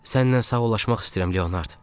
Səninlə sağollaşmaq istəyirəm, Leonard.